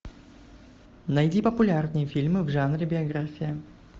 найди популярные фильмы в жанре биография